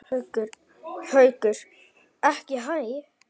Haukur: Ekki hæ?